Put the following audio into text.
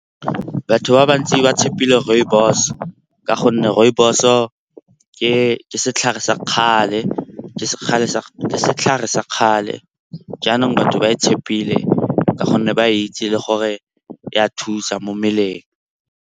Batho ba bantsi ba tshepile rooibos ka gonne rooibos-o ke setlhare sa kgale jaanong batho ba e tshepile ka gonne ba itse le gore ya thusa mo mmeleng.